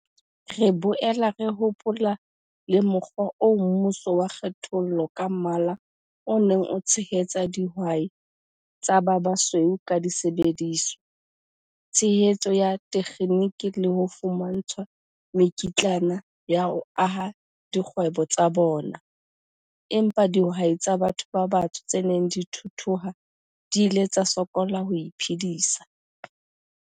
"Re boela re hopola le mokgwa oo mmuso wa kgethollo ka mmala o neng o tshehetsa dihwai tsa ba basweu ka disebediswa, tshehetso ya thekheniki le ho fumantshwa mekitlana ya ho aha dikgwebo tsa bona, empa dihwai tsa batho ba batsho tse neng di thuthuha di ile tsa sokola ho iphedisa."